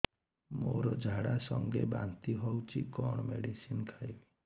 ମୋର ଝାଡା ସଂଗେ ବାନ୍ତି ହଉଚି କଣ ମେଡିସିନ ଖାଇବି